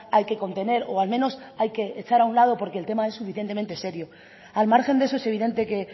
hay que contener o al menos hay que echar a un lado porque el tema es suficientemente serio al margen de eso es evidente que